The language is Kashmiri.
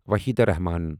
وحیدہ رحمن